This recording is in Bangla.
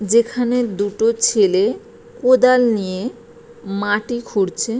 যেখানে দুটো ছেলে কোদাল নিয়ে মাটি খুঁড়ছে।